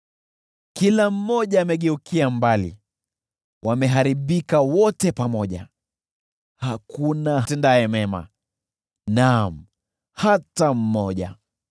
Kila mmoja amegeukia mbali, wameharibika wote pamoja, hakuna atendaye mema. Naam, hakuna hata mmoja!